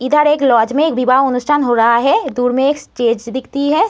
इधर एक लाज मे एक विवाह उनुस्थान हो रहा है। दूर मे एक स्टेज दिखती है।